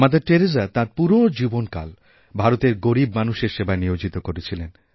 mother Teresa তাঁর পুরো জীবনকাল ভারতের গরীব মানুষের সেবায় নিয়োজিত করেছিলেন